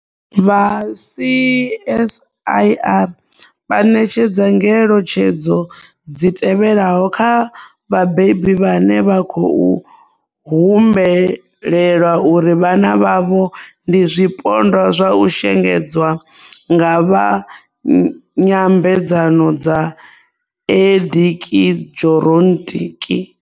Vha CSIR vha ṋetshedza ngeletshedzo dzi tevhelaho kha vhabebi vhane vha khou humbulela uri vhana vhavho ndi zwipondwa zwa u shengedzwa nga vha nyambedzano dza eḓekiḓhironiki.